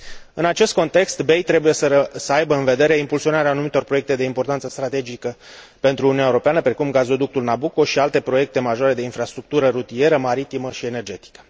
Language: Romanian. În acest context BEI trebuie să aibă în vedere impulsionarea anumitor proiecte de importanță strategică pentru Uniunea Europeană, precum gazoductul Nabucco și alte proiecte majore de infrastructură rutieră, maritimă și energetică.